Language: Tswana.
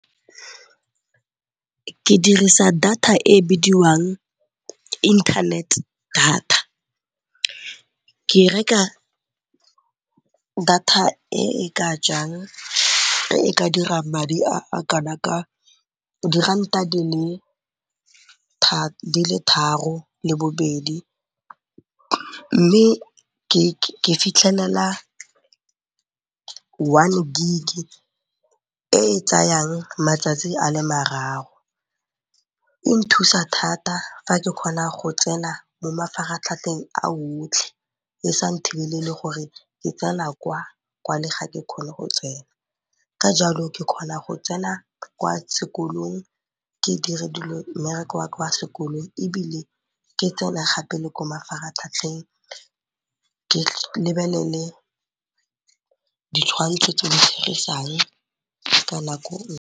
Ke dirisa data e bidiwang internet data, ke reka data e e ka dirang madi a kana ka diranta di le tharo le bobedi mme ke fitlhelela one gig-e e tsayang matsatsi a le mararo. E nthusa thata fa ke kgona go tsena mo mafaratlhatlheng a otlhe e sa nthibelele gore ke tsena kwa, kwale ga ke kgone go tsena. Ka jalo ke kgona go tsena kwa sekolong ke dire mmereko wa kwa sekolong ebile ke tsene gape le ko mafaratlhatlheng ke lebelele ditshwantsho tse di .